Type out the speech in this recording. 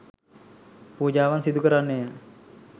පූජාවන් සිදු කරන්නේය